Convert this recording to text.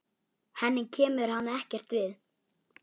Henni kemur hann ekkert við.